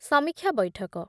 ସମୀକ୍ଷା ବୈଠକ